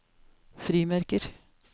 frimerker